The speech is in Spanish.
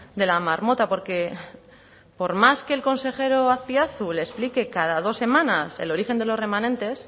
de la marmota porque por más que el consejero azpiazu le explique cada dos semanas el origen de los remanentes